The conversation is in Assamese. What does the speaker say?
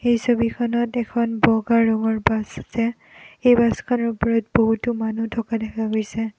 এই ফটোখনত এখন বগা ৰঙৰ বাছ আছে এই বাছখনৰ উপৰত বহুতো মানুহ দেখা গৈছে।